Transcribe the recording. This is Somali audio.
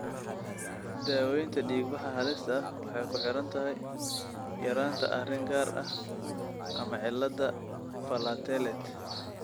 Daawaynta dhiigbaxa halista ah waxay ku xidhan tahay yaraanta arrin gaar ah ama cilladda platelet.